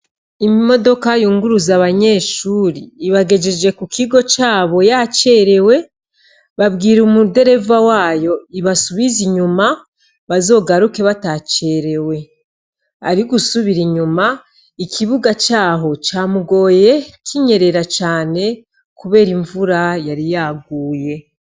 Imodoka yunguruza abanyeshuri ibagejeje ku kigo cabo yacerewe babwira umudereva wayo ibasubize inyuma bazogaruke bata cerewe ari gusubira inyuma ikibuga caho camugoye kinyerera cane, kubera imvura yari yaguye.